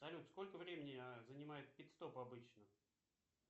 салют сколько времени занимает пит стоп обычно